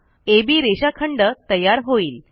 अब रेषाखंड तयार होईल